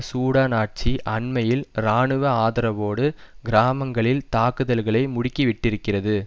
Sudan ஆட்சி அண்மையில் இராணுவ ஆதரவோடு கிராமங்களில் தாக்குதல்களை முடுக்கிவிட்டிருக்கிறது